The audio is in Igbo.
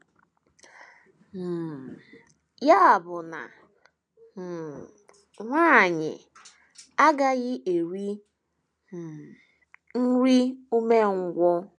um Ya bụ na um, nwanyị a adịghị eri um “ nri umengwụ. ”